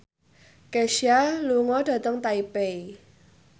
Kesha lunga dhateng Taipei